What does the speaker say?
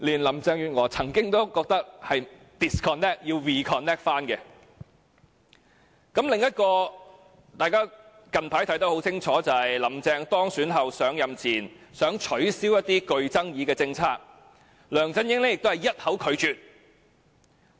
另外，一宗近期發生的事件，也可以讓大家清楚明白"香港營"的失敗，便是"林鄭"當選後，提出在上任前取消一些具爭議的政策，梁振英均一口拒絕。